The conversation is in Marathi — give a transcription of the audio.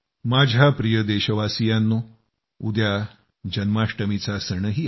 माझ्या प्रिय देशवासियांनो उद्या जन्माष्टमीचा सणही आहे